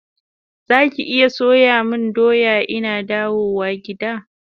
Zaki iya soya mun doya ina dawo gida?